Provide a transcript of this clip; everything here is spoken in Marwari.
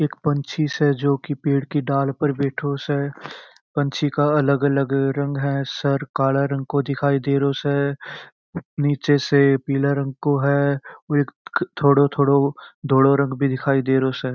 एक पंछी से जो पेड़ की डाल पर बैठो से पंछी का अलग अलग रंग है सर काला रंग को दिखाई दे रहो से नीचे से पीला रंग को है और एक थोड़ो थोड़ो धोलो रंग भी दिखाई दे रहो से।